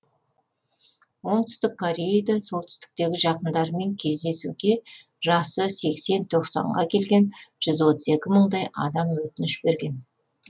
оңтүстік кореяда солтүстіктегі жақындарымен кездесуге жасы сексен тоқсан ға келген жүз отыз екі мыңдай адам өтініш берген